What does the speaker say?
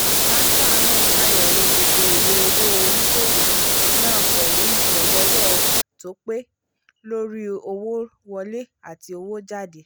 akántà náà ṣàyẹ̀wò gbogbo ìwé owó oníṣòwò náà pẹ̀lú ìtẹ́lọ́rọ̀ tó ń tọ́pẹ̀ lórí owó wọlé àti owó jáde